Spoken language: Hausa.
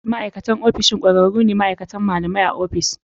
Ma'aikatan ofishin ƙwararru ne ko ma'aikacin malamai a ofis.